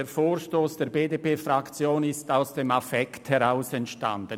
Der Vorstoss der BDPFraktion ist aus dem Affekt heraus entstanden.